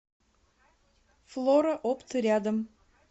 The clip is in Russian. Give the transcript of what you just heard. флора опт рядом